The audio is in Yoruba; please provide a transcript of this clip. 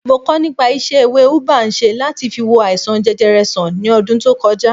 Mo kọ nípa isẹ ewé ubwa ń ṣe láti fi wo àìsàn jẹjẹrẹ sàn ní ọdún tó koja